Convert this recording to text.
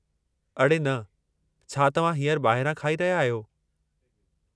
अड़े न, छा तव्हां हींअर ॿाहिरां खाई रहिया आहियो?